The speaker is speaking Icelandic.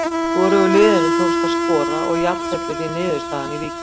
Hvorugu liðinu tókst að skora og jafntefli því niðurstaðan í Víkinni.